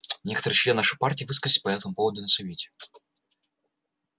некоторые члены нашей партии высказались по этому поводу на совете